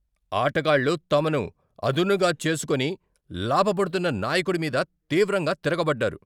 ఆటగాళ్ళు తమను అదునుగా చేసుకొని లాభపడుతున్న నాయకుడి మీద తీవ్రంగా తిరగబడ్డారు.